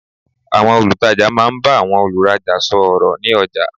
Àwọn olùtajà máa n bá àwọn olùrajà sò ọ̀rọ̀ ní ọjà